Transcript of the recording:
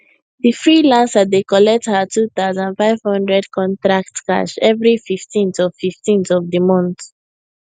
the freelancer dey collect her 2500 contract cash every 15th of 15th of the month